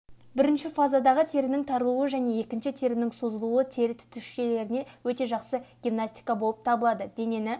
бірінші фазадағы терінің тарылуы және екінші терінің созылуы тері түтікшелеріне өте жақсы гимнастика болып табылады денені